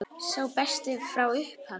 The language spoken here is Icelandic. Sá besti frá upphafi?